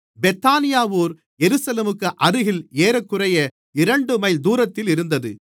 பெத்தானியா ஊர் எருசலேமுக்கு அருகில் ஏறக்குறைய இரண்டு மைல் தூரத்திலிருந்தது